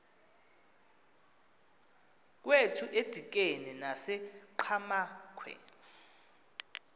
kwethu edikeni nasenqhamakhwe